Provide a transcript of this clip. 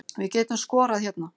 Við getum skorað hérna